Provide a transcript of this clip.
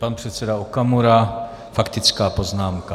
Pan předseda Okamura - faktická poznámka.